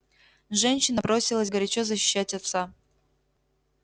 женщина бросилась горячо защищать отца